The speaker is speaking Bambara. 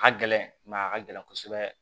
A ka gɛlɛn a ka gɛlɛn kosɛbɛ